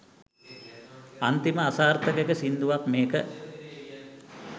අන්තිම අසාර්ථක සිංදුවක් මේක.